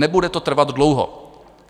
Nebude to trvat dlouho!